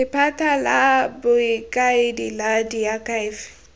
lephata la bokaedi la diakhaefe